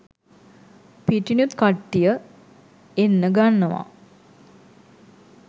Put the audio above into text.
පිටිනුත් කට්ටිය එන්න ගන්නව.